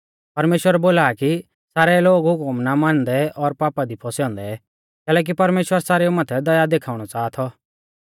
परमेश्‍वर बोला आ कि सारै लोग हुकम ना मानदै और पापा दी फौसै औन्दै कैलैकि परमेश्‍वर सारेउ माथै दया देखाउणौ च़ाहा थौ